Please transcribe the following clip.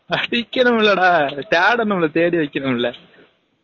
படிக்கனும்ல டா தேடனும்ல தேடி வைகனும்ல